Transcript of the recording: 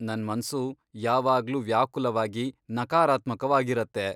ನನ್ ಮನ್ಸು ಯಾವಾಗ್ಲೂ ವ್ಯಾಕುಲವಾಗಿ, ನಕಾರಾತ್ಮಕವಾಗಿರತ್ತೆ.